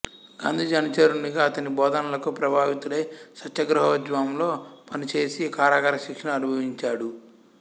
గాంధీజీ అనుచరునిగా అతని బోధనలకు ప్రభావితుడై సత్యాగ్రహోద్యమంలో పనిచేసి కారాగార శిక్షను అనుభవించాడు